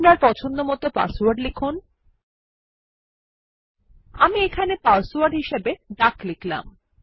আপনার পছন্দমত পাসওয়ার্ড লিখুন আমি এখানে পাসওয়ার্ড হিসাবে ডাক লিখলাম